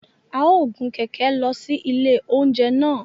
A o gun kẹkẹ lọ si ilé oúnjẹ náà